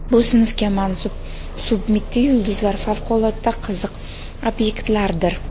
Bu sinfga mansub submitti yulduzlar favqulodda qiziq obyektlardir.